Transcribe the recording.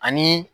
Ani